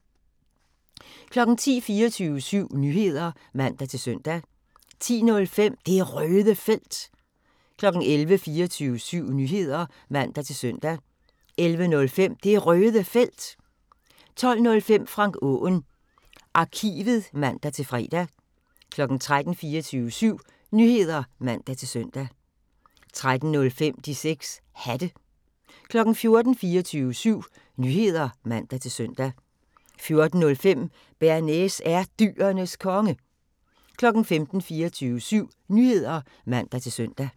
10:00: 24syv Nyheder (man-søn) 10:05: Det Røde Felt 11:00: 24syv Nyheder (man-søn) 11:05: Det Røde Felt 12:05: Frank Aaen Arkivet (man-fre) 13:00: 24syv Nyheder (man-søn) 13:05: De 6 Hatte 14:00: 24syv Nyheder (man-søn) 14:05: Bearnaise er Dyrenes Konge 15:00: 24syv Nyheder (man-søn)